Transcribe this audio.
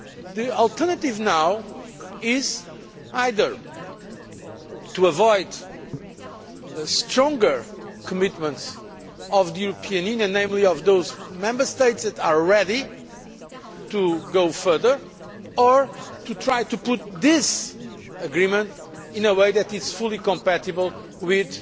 The alternative now is either to avoid stronger commitments of the European Union, namely of those Member States that are ready to go further, or try to formulate this agreement in a way that is fully compatible with